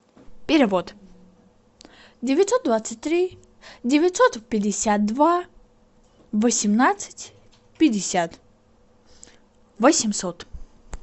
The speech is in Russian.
перевод девятьсот двадцать три девятьсот пятьдесят два восемнадцать пятьдесят восемьсот